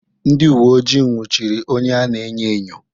Ndị uwe ojii nwụchiri onye a na-enyo enyo.